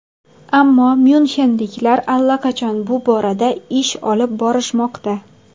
Ammo myunxenliklar allaqachon bu borada ish olib borishmoqda.